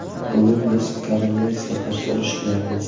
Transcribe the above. Bugun biz koronavirusga qarshi urush qilyapmiz.